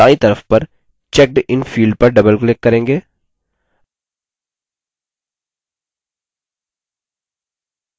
इसके लिए हम detail भाग में दायीं तरफ पर checkedin field पर double click करेंगे